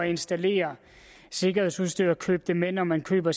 installere sikkerhedsudstyr og købe det med når man køber